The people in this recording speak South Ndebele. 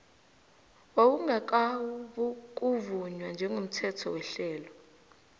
wawungakabukuvunywa njengomthetho wehlelo